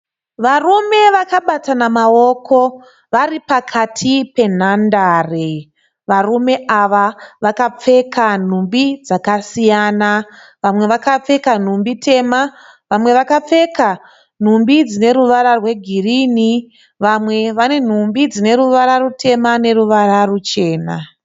Varume vakabatana maoko varipakati penhandare. Varume ava vakapfeka nhumbi dzakasiyana vamwe vakapfeka nhumbi tema, vamwe vakapfeka nhumbi dzine ruvara rwegirini, vamwe vane nhumbi dzineruvara rutema neruvara ruchena.